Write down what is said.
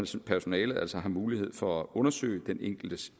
så personalet altså har mulighed for at undersøge den enkeltes